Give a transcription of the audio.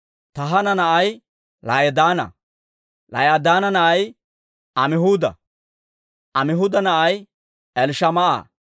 Tahaana na'ay La'idaana; La'idaana na'ay Amihuuda; Amihuuda na'ay Elishamaa'a;